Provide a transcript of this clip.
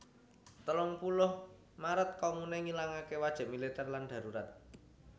Telung puluh Maret Komune ngilangaké wajib militèr lan darurat